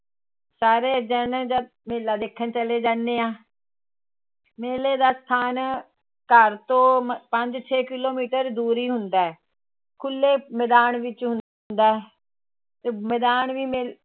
ਸਾਰੇ ਜਾਣੇ ਜਦ ਮੇਲਾ ਦੇਖਣ ਚਲੇ ਜਾਂਦੇ ਆਂ ਮੇਲੇ ਦਾ ਸਥਾਨ ਘਰ ਤੋਂ ਪੰਜ ਤੋਂ ਛੇ ਕਿੱਲੋਮੀਟਰ ਦੂਰ ਹੀ ਹੂੰਦਾ ਹੈ ਖੁੱਲੇ ਮੈਦਾਨ ਵਿੱਚ ਹੁੰਦਾ ਹੈ, ਤੇ ਮੈਦਾਨ ਵੀ ਮੇ